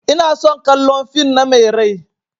Ina son kallan fin na Mai rai.